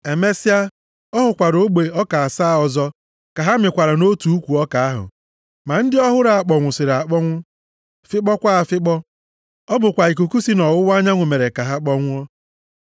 Emesịa, ọ hụkwara ogbe ọka asaa ọzọ ka ha mịkwara nʼotu ukwu ọka ahụ. Ma ndị a ọ hụrụ kpọnwụsịrị akpọnwụ, fịkpọkwa afịkpọ. Ọ bụ ikuku si nʼọwụwa anyanwụ mere ka ha kpọnwụọ.